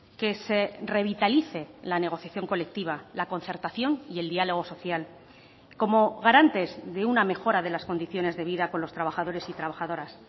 que se revitalice la negociación colectiva la concertación y el diálogo social como garantes de una mejora de las condiciones de vida con los trabajadores y trabajadoras